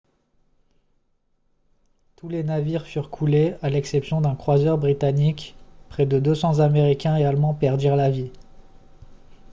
tous les navires furent coulés à l'exception d'un croiseur britannique près de 200 américains et allemands perdirent la vie